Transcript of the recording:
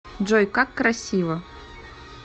джой как красиво